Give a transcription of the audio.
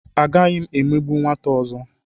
Agaghị m emegbu nwata ọzọ.